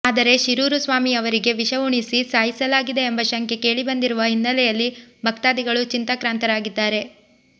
ಆದರೆ ಶಿರೂರು ಸ್ವಾಮಿಯವರಿಗೆ ವಿಷ ಉಣಿಸಿ ಸಾಯಿಸಲಾಗಿದೆ ಎಂಬ ಶಂಕೆ ಕೇಳಿ ಬಂದಿರುವ ಹಿನ್ನೆಲೆಯಲ್ಲಿ ಭಕ್ತಾದಿಗಳು ಚಿಂತಾಕ್ರಾಂತರಾಗಿದ್ದಾರೆ